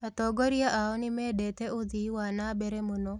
Atongoria ao nĩmendete ũthii wa na mbere mũno